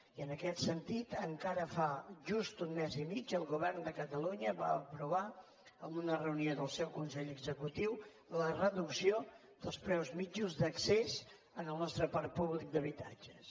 i en aquest sentit encara fa just un mes i mig el govern de catalunya va aprovar en una reunió del seu consell executiu la reducció dels preus mitjans d’accés al nostre parc públic d’habitatges